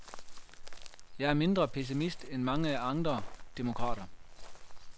Jeg er mindre pessimist end mange andre demokrater.